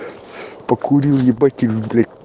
покурил либо тюмень